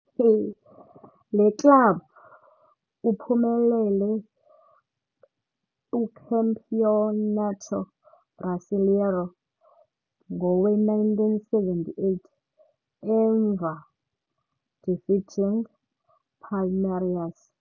Le club uphumelele Campeonato Brasileiro ngowe - 1978, emva defeating Palmeiras.